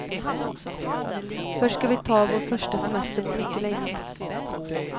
Först ska vi ta vår första semester på mycket länge.